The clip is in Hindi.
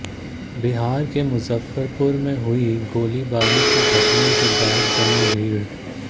बिहार के मुजफ्फरपुर में हुई गोलीबारी की घटना के बाद जमा भीड़